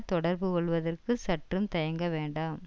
தொடர்பு கொள்ளுவதற்கு சற்றும் தயங்க வேண்டாம்